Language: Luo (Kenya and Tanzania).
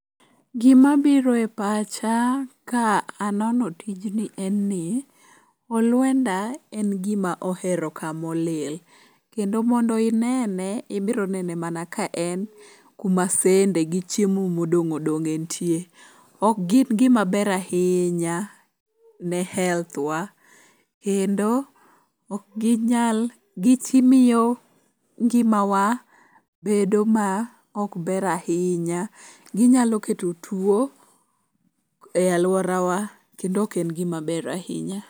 Gimabiro e pacha ka anono tijni en ni, olwenda en gima ohero kamolil. Kendo mondo inene ibironene mana ka en kuma sende gi chiemo modong' odong'e nitie. Ok gin gima ber ahinya ne health wa kendo gimiyo ngimawa bedo ma ok ber ahinya, ginyalo keto tuo e alworawa kendo ok en gimaber ahinya.